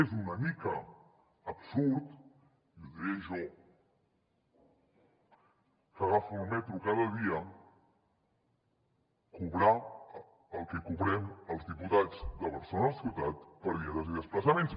és una mica absurd i ho diré jo que agafo el metro cada dia cobrar el que cobrem els diputats de barcelona ciutat per dietes i desplaçaments